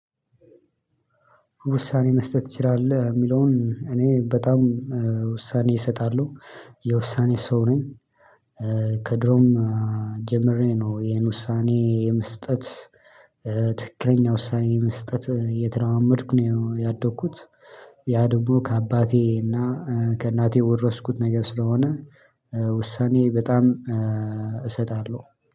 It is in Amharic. ውሳኔ መስጠት ትችላለህ የሚለውን እኔ በጣም ውሳኔ እሰጣለሁ የውሳኔ ሰው ነኝ። ከድሮም ጀምሬ ነው ይሄን ውሳኔ የመስጠት። ትክክለኛ ውሳኔ የመስጠት እየተለማመድኩ ነው ያደኩት። ያ ደግሞ ከአባቴ እና ከእናቴ የወረስኩት ነገር ስለሆነ። ውሳኔ በጣም እሰጣለሁ